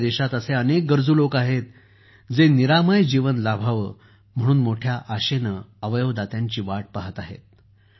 आज आपल्या देशात असे अनेक गरजू लोक आहेत जे निरामय जीवन लाभावे म्हणून मोठ्या आशेने अवयवदात्यांची वाट पाहत आहेत